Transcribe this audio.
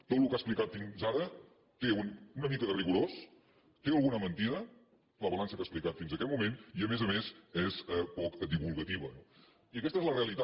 tot el que ha ex·plicat fins ara té una mica de rigorós té alguna mentida la balança que ha explicat fins aquest moment i a més a més és poc divulgativa no i aquesta és la realitat